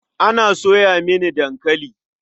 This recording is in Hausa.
Ana soya mini dankali.